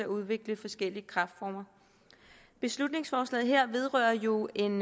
udvikle forskellige kræftformer beslutningsforslaget her vedrører jo en